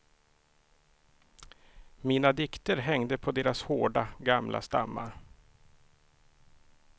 Mina dikter hängde på deras hårda, gamla stammar.